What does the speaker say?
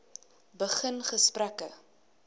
begin gesprekke